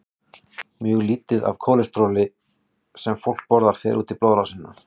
Mjög lítið af því kólesteróli sem fólk borðar fer út í blóðrásina.